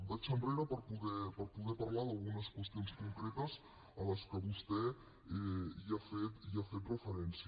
vaig enrere per poder parlar d’algunes qüestions concretes a les que vostè ha fet referència